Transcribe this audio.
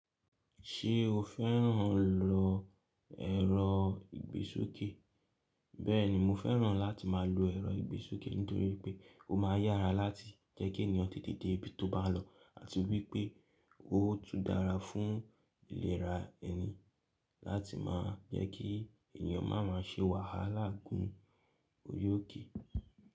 Ṣé o fẹ́ràn lọ ẹ̀rọ ìgbésókè? Bẹ́ẹ̀ni mo fẹ́ràn láti má lọ ẹ̀rọ ìgbésókè nítorí pé ó ma yára láti jẹ́ kí ènìyàn tètè dé ibi tó bá lọ àti wípé ó tún dára fún ìlera ẹni láti má jẹ́ kí ènìyàn máa má ṣe wàhálà gún ori òkè.